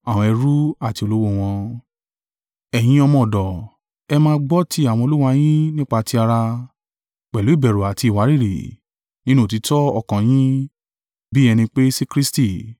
Ẹ̀yin ọmọ ọ̀dọ̀, ẹ máa gbọ́ ti àwọn olúwa yín nípá ti ara, pẹ̀lú ìbẹ̀rù àti ìwárìrì, nínú òtítọ́ ọkàn yín, bí ẹni pé sí Kristi.